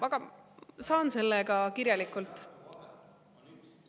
Aga saan selle ka kirjalikult …